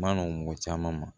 Ma nɔgɔn mɔgɔ caman ma